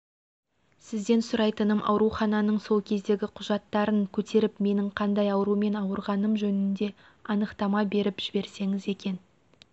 сізден сұрайтыным аурухананың сол кездегі құжаттарын көтеріп менің қандай аурумен ауырғаным жөнінде анықтама беріп жіберсеңіз екен